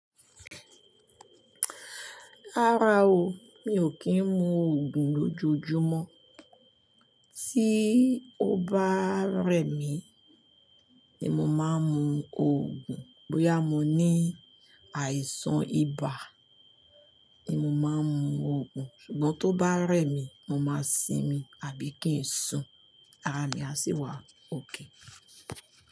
Rárá o, mi ò kí ń mu Ògùn lójoojúmọ́, tí ó bá rẹ̀ mí ni mo máa ń mu Ògùn. Bóyá mo ní àìsàn ibà ni mo máa ń mu Ògùn, ṣùgbọ́n tó bá rẹ̀ mí, mo máa sinmi àbí kí ń sùn, ara mi á sì wá okay.